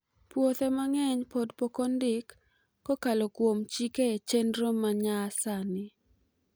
Puothe mang'eny pod poko ndik kokalo kuom chik e chenro manyasani